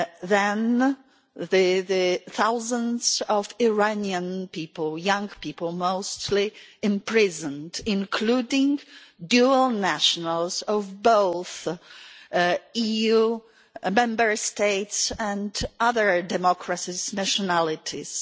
Then thousands of Iranian people young people mostly were imprisoned, including dual nationals of both EU Member States and other democracies' nationalities.